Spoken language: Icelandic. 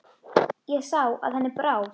Ég sá að henni brá.